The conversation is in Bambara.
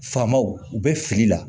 Faamaw u bɛ fili la